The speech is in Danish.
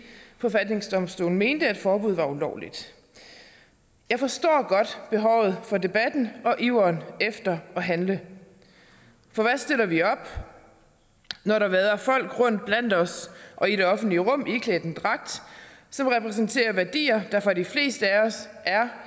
forfatningsdomstolen mente at forbuddet var ulovligt jeg forstår godt behovet for debatten og iveren efter at handle for hvad stiller vi op når der vader folk rundt blandt os og i det offentlige rum iklædt en dragt som repræsenterer værdier der for de fleste af os er